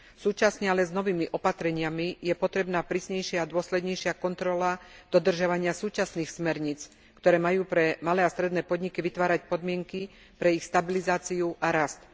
Súčasne ale s novými opatreniami je potrebná prísnejšia a dôslednejšia kontrola dodržiavania súčasných smerníc, ktoré majú pre malé a stredné podniky vytvárať podmienky pre ich stabilizáciu a rast.